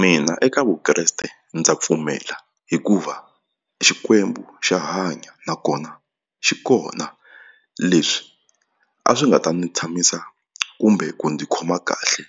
Mina eka Vukreste ndza pfumela hikuva xikwembu xa hanya nakona xi kona leswi a swi nga ta ndzi tshamisa kumbe ku ndzi khoma kahle